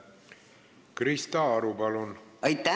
Krista Aru, palun!